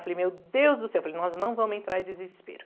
Eu falei, meu Deus do céu, falei, nós não vamos entrar em desespero.